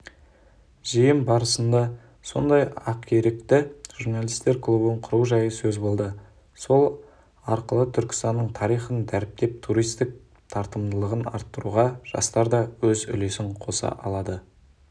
жиын барысындасондай-ақерікті журналистер клубын құру жайы сөз болды сол арқылытүркістанның тарихын дәріптеп туристік тартымдылығын арттыруға жастар да өз үлесін қоса алады